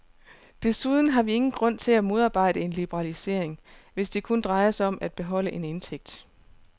Desuden har vi ingen grund til at modarbejde en liberalisering, hvis det kun drejer sig om at beholde en indtægt.